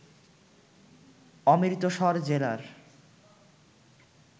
অমৃতসর জেলার